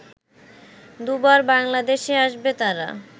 দুবার বাংলাদেশে আসবে তারা